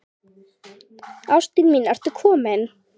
Ásta mín ertu komin?